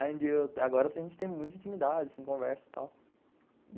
Agora a gente tem muita intimidade em conversa e tal.